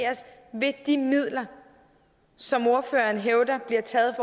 via de midler som ordføreren hævder bliver taget